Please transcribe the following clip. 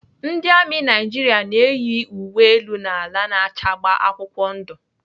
Ndị amị Naijiria na-eyi uwe elu na ala na-acha agba akwụkwọ ndụ.